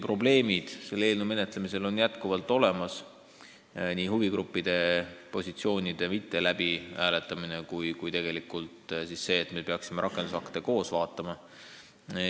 Probleemiks on nii huvigruppide positsioonide läbi hääletamata jätmine kui see, et me peaksime põhiteksti vaatama koos rakendusaktidega.